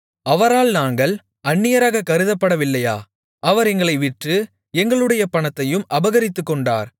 அவரால் நாங்கள் அந்நியராக கருதப்படவில்லையா அவர் எங்களை விற்று எங்களுடைய பணத்தையும் அபகரித்துக்கொண்டார்